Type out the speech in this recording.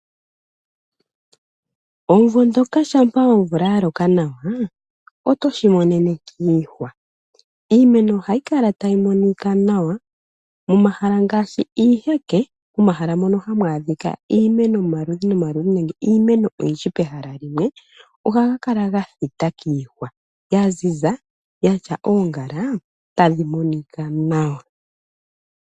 Omumvo ngoka shampa omvula ya loka nawa otoshi monene kiihwa, iimeno ohayi kala tayi monika nawa, momahala ngaashi iiheke momahala mono hamu adhika iimeno yomaludhi nomaludhi nenge iimeno oyindji pehala limwe ohaga kala ga thita kiihwa ya ziza yatya oongala tadhi monika nawa.